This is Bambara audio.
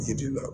Yiri la